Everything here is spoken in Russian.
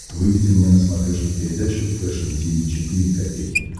выведи мне на смотрешке передачу фэшн ти ви четыре ка